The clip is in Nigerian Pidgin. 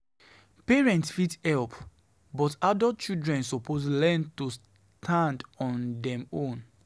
Parents fit help, but adult children suppose learn to stand on dem own.